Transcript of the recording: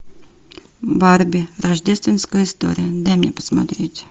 барби рождественская история дай мне посмотреть